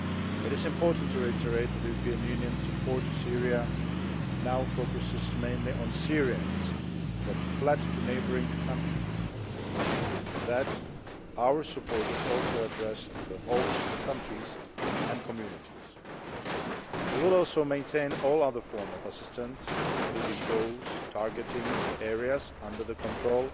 It is important to reiterate that the European Union's support to Syria now focuses mainly on Syrians who have fled to neighbouring countries, and that our support is also addressed to the host countries and communities. We will also maintain all other forms of assistance, including those targeting areas under the control